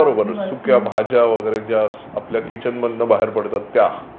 सुक्या भाज्या वगैरे ज्या आपल्या किचन मधून बाहेर पडतात त्या